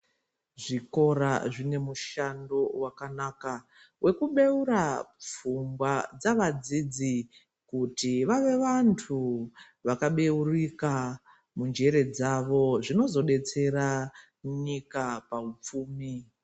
Zvikora zvine mushando wakanaka wekubeura pfungwa dzavadzidzi kuti vave vanhu vakabeurika munjere dzavo zvinozodetsera munyika pahupfumi.